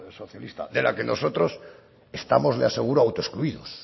socialista de la que nosotros estamos de aseguro autoexcluidos